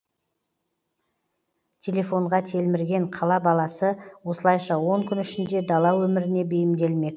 телефонға телмірген қала баласы осылайша он күн ішінде дала өміріне бейімделмек